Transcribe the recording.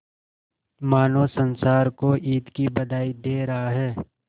मानो संसार को ईद की बधाई दे रहा है